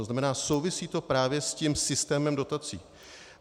To znamená, souvisí to právě s tím systémem dotací.